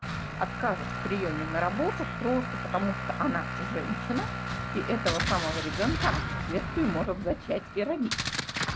откажут в приёме на работу просто потому что она женщина и этого самого ребёнка она впоследствии может зачать и родить